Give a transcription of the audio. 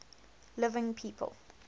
living people